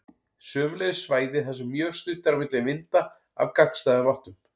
Sömuleiðis svæði þar sem mjög stutt er á milli vinda af gagnstæðum áttum.